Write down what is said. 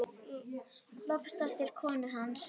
Loftsdóttur, konu hans.